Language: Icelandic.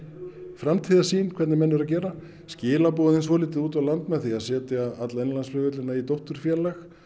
framtíðarsýn hvernig menn eru að gera skilaboðin svolítið út á land með því að setja alla innanlandsflugvellina í dótturfélag